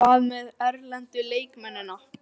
Hvað með erlendu leikmennina?